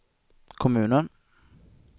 kommunen